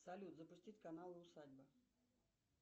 салют запустить канал усадьба